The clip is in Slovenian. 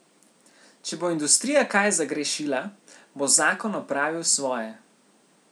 Če bo industrija kaj zagrešila, bo zakon opravil svoje.